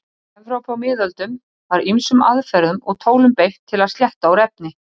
Í Evrópu á miðöldum var ýmsum aðferðum og tólum beitt til að slétta úr efni.